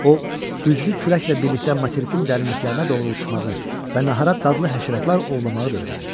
O güclü küləklə birlikdə materikin dərinliklərinə doğru uçmağı və nəhərat dadlı həşəratlar ovlamağı da öyrənmişdi.